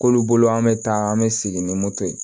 K'olu bolo an bɛ taa an bɛ segin ni moto ye